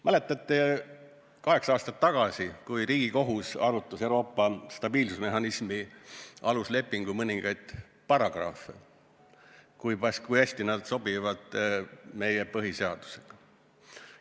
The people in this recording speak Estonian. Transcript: Mäletate, kaheksa aastat tagasi arutas Riigikohus Euroopa stabiilsusmehhanismi aluslepingu mõningaid paragrahve, kui hästi need sobivad meie põhiseadusega.